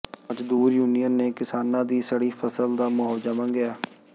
ਮਜ਼ਦੂਰ ਯੂਨੀਅਨ ਨੇ ਕਿਸਾਨਾਂ ਦੀ ਸੜੀ ਫ਼ਸਲ ਦਾ ਮੁਆਵਜ਼ਾ ਮੰਗਿਆ